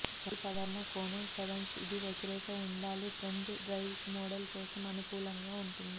అభిసరణ కోణం సెవెన్స్ ఇది వ్యతిరేక ఉండాలి ఫ్రంట్ డ్రైవ్ మోడల్ కోసం అనుకూలంగా ఉంటుంది